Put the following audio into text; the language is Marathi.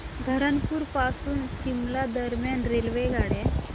धरमपुर पासून शिमला दरम्यान रेल्वेगाड्या